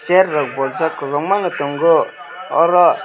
chair rog bwjaak kabangma nw tango oro.